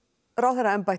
ráðherraembætti